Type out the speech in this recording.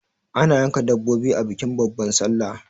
ana yanka dabbobi a bikin babbar sallah